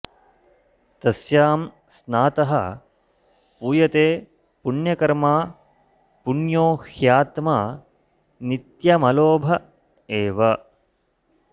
तस्यां स्नातः पूयते पुण्यकर्मा पुण्यो ह्यात्मा नित्यमलोभ एव